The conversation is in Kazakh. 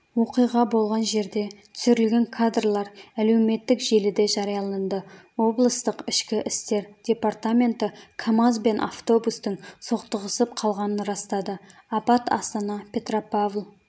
оқиға болған жерде түсірілген кадрлар әлеуметтік желіде жарияланды облыстық ішкі істер департаменті камаз бен автобустың соқтығысып қалғанын растады апат астана петропавл